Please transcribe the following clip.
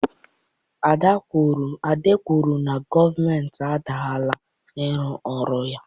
Ade kwuru na gọọmentị adaala n'ịrụ ọrụ ya